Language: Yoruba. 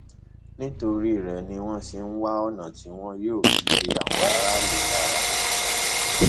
nítorí rẹ ni wọn ṣe ń wá ọnà tí tí wọn yóò fi de àwọn aráàlú lára